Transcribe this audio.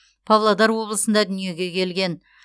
павлодар облысында дүниеге келген